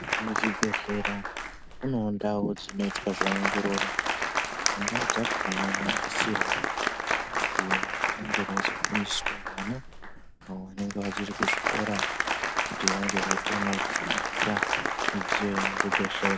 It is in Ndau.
Muzvibhedhlera munevo ndau dzinoitwa zveongororo mundau dzakona munosisirwa kuzi munge muizofundiswavo vana avo vanenge vachiri kuzvikora. Kuti vange veikonavo kusenzesa midziyo yemuzvibhedhlera.